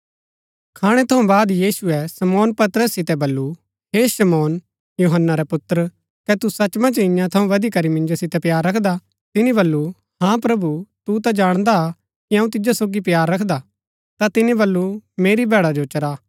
खाणै थऊँ बाद यीशुऐ शमौन पतरस सितै बल्लू हे शमौन यूहन्‍ना रै पुत्र कै तू सच मन्ज ईयां थऊँ बदिकरी मिन्जो सितै प्‍यार रखदा तिनी बल्लू हाँ प्रभु तू ता जाणदा हा कि अऊँ तिजो सोगी प्‍यार रखदा ता तिनी बल्लू मेरी भैड़ा जो चरा